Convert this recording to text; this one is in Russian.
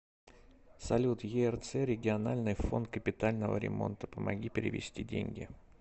салют ерц региональный фонд капитального ремонта помоги перевести деньги